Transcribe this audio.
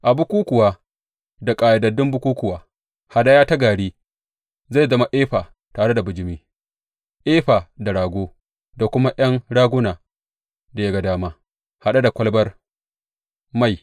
A bukukkuwa da ƙayyadaddun bukukkuwa, hadaya ta gari zai zama efa tare da bijimi, efa da rago, da kuma ’yan raguna da ya ga dama, haɗe da kwalabar mai.